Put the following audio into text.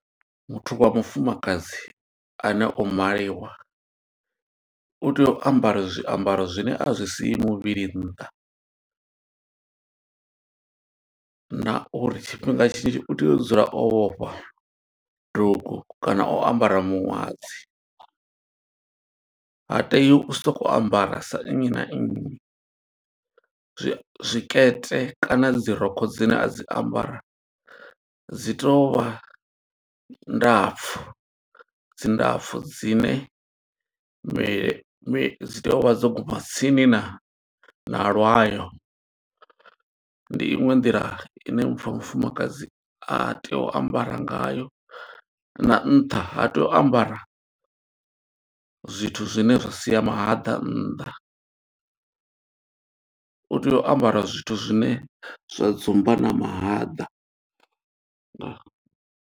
Muthu wa mufumakadzi ane o maliwa, u tea u ambara zwiambaro zwine a zwi siyi muvhili nnḓa, na uri tshifhinga tshinzhi u tea u dzula o vhofha dugu kana o ambara miṅwadzi. Ha tei u soko ambara sa nnyi na nnyi, zwikete kana dzi rokho dzine a dzi ambara, dzi tovha ndapfu. Dzi ndapfu, dzine mi mi dzi tea u vha dzo guma tsini na na lwayo. Ndi iṅwe nḓila ine muthu wa mufumakadzi a tei u ambara nga yo, na nṱha ha tei u ambara zwithu zwine zwa sia mahaḓa nnḓa. U tea u ambara zwithu zwine zwa dzumba na mahaḓa. Ndaa.